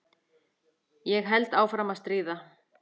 Ég held áfram að stríða.